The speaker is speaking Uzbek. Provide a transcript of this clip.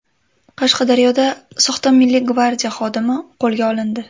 Qashqadaryoda soxta Milliy gvardiya xodimi qo‘lga olindi.